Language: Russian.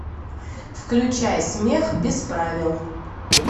включай смех без правил